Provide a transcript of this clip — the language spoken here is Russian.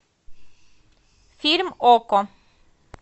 фильм окко